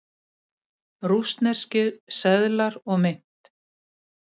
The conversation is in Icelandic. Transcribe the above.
Rússneskir seðlar og mynt.